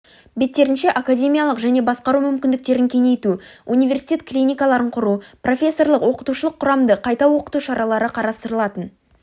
беттерінше академиялық және басқару мүмкіндіктерін кеңейту университет клиникаларын құру профессорлық-оқытушылық құрамды қайта оқыту шаралары қарастырылатын